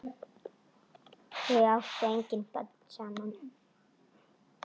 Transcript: Þau áttu engin börn saman.